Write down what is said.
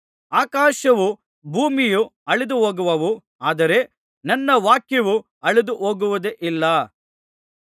ಆಕಾಶವೂ ಭೂಮಿಯೂ ಅಳಿದು ಹೋಗುವವು ಆದರೆ ನನ್ನ ವಾಕ್ಯವು ಅಳಿದು ಹೋಗುವುದೇ ಇಲ್ಲ